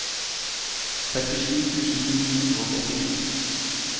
sekstisju tusen ni hundre og åttisju